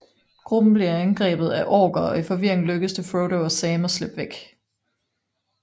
Gruppen bliver angrebet af orker og i forvirringen lykkes det Frodo og Sam at slippe væk